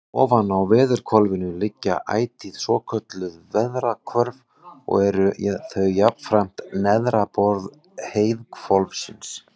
Ofan á veðrahvolfinu liggja ætíð svokölluð veðrahvörf og eru þau jafnframt neðra borð heiðhvolfsins.